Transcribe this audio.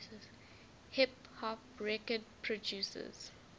hip hop record producers